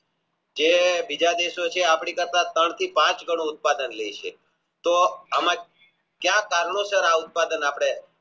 જે બીજા દેશો છે આપણી પાસે ત્રણથી પાંચ ગણું ઉત્પાદન લેય છે તો એમાં ક્યાં કારણો સાર આ ઉત્પાદન આપણે